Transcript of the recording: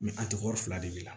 a tɛ ko fila de bila